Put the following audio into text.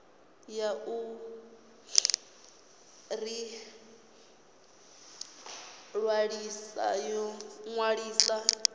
ya u ḓi ṅwalisa yo